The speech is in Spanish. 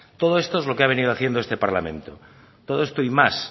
todo esto es lo que ha venido haciendo este parlamento todo esto y más